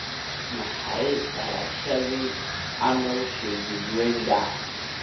waa maxay dhalashada Arnold Schwarzenegger